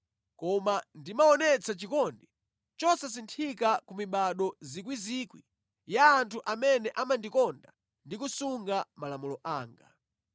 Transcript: koma ndimaonetsa chikondi chosasinthika ku mibado miyandamiyanda ya anthu amene amandikonda ndi kusunga malamulo anga.